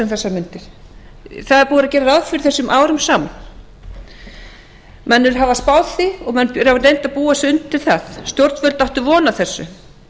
þessar mundir það er búið að gera ráð fyrir þessu árum saman menn hafa spáð því og menn hafa reynt að búa sig undir það stjórnvöld áttu von á þessu